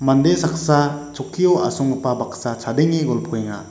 mande saksa chokkio asonggipa baksa chadenge golpoenga.